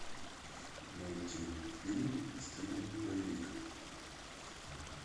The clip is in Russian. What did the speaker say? найти фильм в стиле боевик